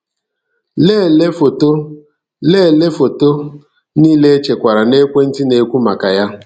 Lelee foto Lelee foto niile echekwara n'ekwentị a na-ekwu maka ya.